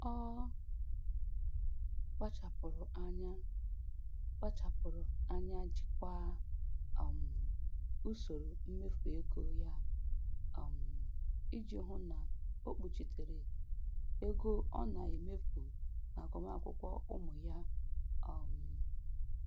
Ọ kpachapụrụ anya kpachapụrụ anya jikwaa um usoro mmefu ego ya um iji hụ na o kpuchitere ego ọ na-emefu n'agụmakwụkwọ ụmụ ya. um